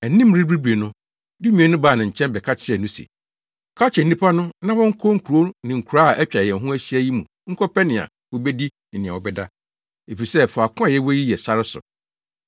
Anim rebiribiri no, dumien no baa ne nkyɛn bɛka kyerɛɛ no se, “Ka kyerɛ nnipa no na wɔnkɔ nkurow ne nkuraa a atwa yɛn ho ahyia yi mu nkɔpɛ nea wobedi ne nea wɔbɛda, efisɛ faako a yɛwɔ yi yɛ sare so.”